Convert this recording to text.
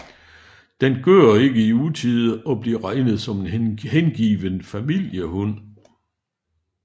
Den gør ikke i utide og bliver regnet som en hengiven familiehund